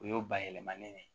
O y'o bayɛlɛmalen de ye